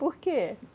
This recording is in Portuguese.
Por quê?